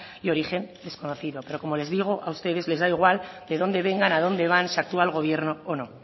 de origen desconocido pero como les digo a ustedes les da igual de dónde vengan a dónde van si actúa el gobierno o no